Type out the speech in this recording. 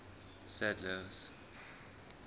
sadler's